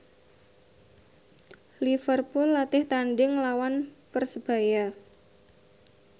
Liverpool latih tandhing nglawan Persebaya